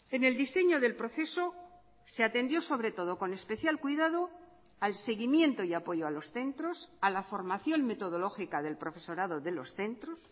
en el diseño del proceso se atendió sobre todo con especial cuidado al seguimiento y apoyo a los centros a la formación metodológica del profesorado de los centros